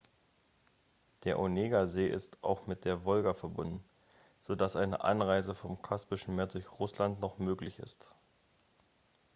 der onegasee ist auch mit der wolga verbunden so dass eine anreise vom kaspischen meer durch russland noch möglich ist